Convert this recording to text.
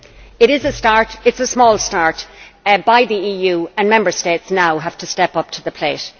It is a start it is a small start by the EU, and Member States now have to step up to the plate.